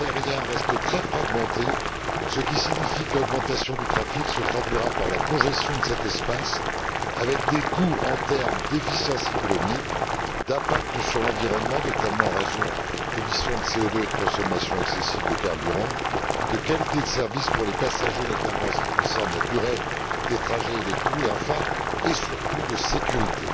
L'espace aérien reste très fragmenté, ce qui signifie que l'augmentation du trafic se traduira par la congestion de cet espace, avec des coûts en termes d'efficience économique, d'impact sur l'environnement notamment les émissions de CO 2 et la consommation excessive de carburant de qualité du service pour les passagers, notamment en ce qui concerne la durée des trajets et les coûts et, enfin et surtout sur le plan de la sécurité.